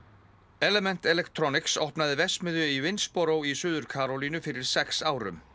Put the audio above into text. element opnaði verksmiðju í í Suður Karólínu fyrir sex árum